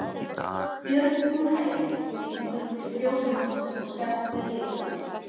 Björn á hæli, gengur til fjósamanns og sest við hlið hans.